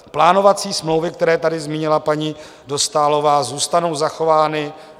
Plánovací smlouvy, které tady zmínila paní Dostálová, zůstanou zachovány.